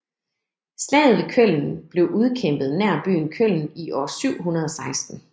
Slaget ved Köln blev udkæmpet nær byen Köln i år 716